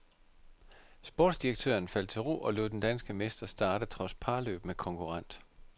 Sportsdirektøren faldt til ro og lod den danske mester starte trods parløb med konkurrent.